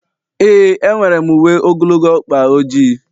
ee, enwere m uwe ogologo ọkpa ojii